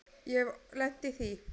Ég hef lent í því.